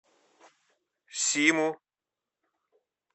симу